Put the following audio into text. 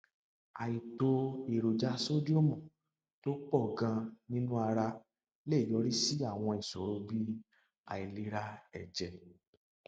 àìtó èròjà sódíọọmù tó pọ ganan nínú ara lè yọrí sí àwọn ìṣòro bí àìlera ẹjẹ